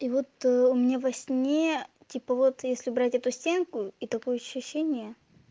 и вот у меня во сне типа вот если брать эту стенку и такое ощущение